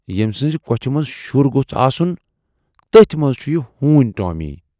ییمۍ سٕنزِ کۅچھِ منز شُر گوژھ آسُن، تٔتھۍ منز چھُ یہِ ہوٗن ٹٲمی۔